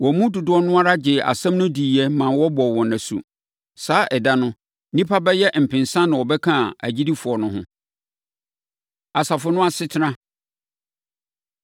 Wɔn mu dodoɔ no ara gyee asɛm no diiɛ maa wɔbɔɔ wɔn asu. Saa ɛda no, nnipa bɛyɛ mpensa na wɔbɛkaa agyidifoɔ no ho. Asafo No Asetena